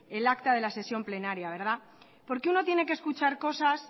el acta de la sesión plenaria porque uno tiene que escuchar cosas